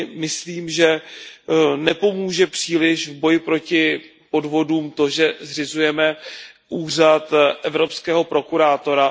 si myslím, že nepomůže příliš v boji proti podvodům to, že zřizujeme úřad evropského prokurátora.